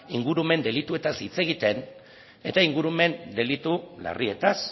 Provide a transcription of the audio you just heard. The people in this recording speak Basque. ingurumen delituetaz hitz egiten eta ingurumen delitu larrietaz